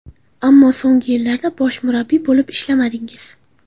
Ammo so‘nggi yillarda bosh murabbiy bo‘lib ishlamadingiz.